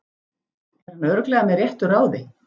Er hann örugglega með réttu ráði?